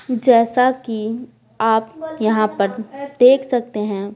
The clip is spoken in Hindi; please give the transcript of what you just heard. जैसा कि आप यहाँ पर देख सकते हैं।